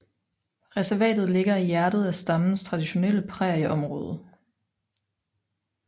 Reservatet ligger i hjertet af stammens traditionelle prærieområde